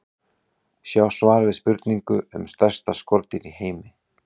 Sjá svar við spurningu um stærsta skordýr í heimi.